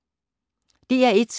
DR1